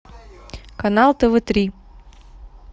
канал тв три